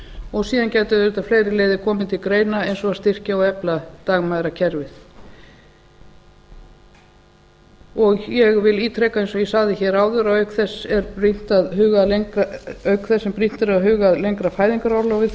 og síðan gætu auðvitað fleiri leiðir komið til greina eins og að styrkja og efla dagmæðrakerfið ég vil ítreka eins og ég sagði hér áður að auk þess sem brýnt er að huga að lengra fæðingarorlofi þá verður